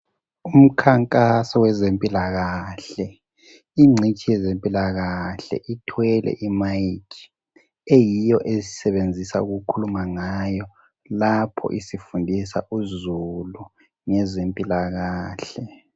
Umkhankaso wezempilakahle ingcitshi yezempilakahle ithwele imayikhi eyiyo esebenzisa ukukhuluma ngayo lapha isifundisa uzulu ngezempilakahle.